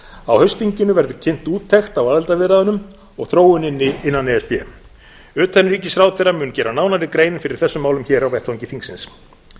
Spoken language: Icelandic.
á haustþinginu verður kynnt úttekt á aðildarviðræðunum og þróuninni innan e s b utanríkisráðherra mun gera nánari grein fyrir þessum málum á vettvangi þingsins